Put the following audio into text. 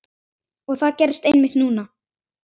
Og það gerðist einmitt núna!